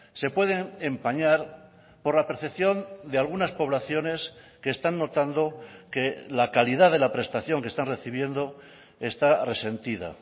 se pueden empañar por la percepción de algunas poblaciones que están notando que la calidad de la prestación que están recibiendo esta resentida